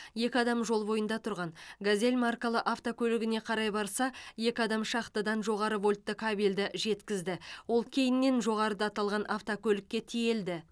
екі адам жол бойында тұрған газель маркалы автокөлігіне қарай барса екі адам шахтадан жоғары вольтты кабелді жеткізді ол кейіннен жоғарыда аталған автокөлікке тиелді